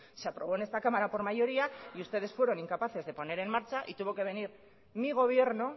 se aprobó en esta cámara por mayoría y ustedes fueron incapaces de poner en marcha tuvo que venir mi gobierno